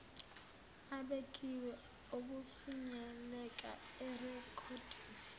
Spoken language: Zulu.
abekiwe okufinyelela erekhoddini